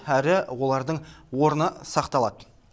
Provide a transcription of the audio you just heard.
әрі олардың орны сақталады